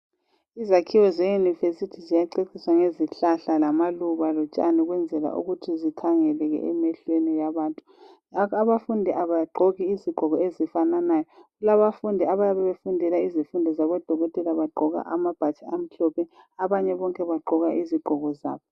Izakhiwo zeYunivesithi ziyaceciswa ngezihlahla lamaluba lotshani ukwenzela ukuthi zikhangeleke emehlweni abantu. Abafundi abagqoki izigqoko ezifananayo, abafundi abayabe befundela izifundo zabodokotela bagqoka amabhatshi amhlophe, abanye bonke bagqoka izigqoko zabo.